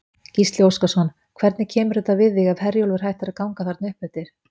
Gísli Óskarsson: Hvernig kemur þetta við þig ef Herjólfur hættir að ganga þarna uppeftir?